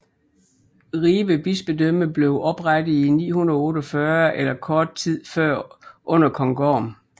Ribe bispedømme blev oprettet i 948 eller kort tid før under kong Gorm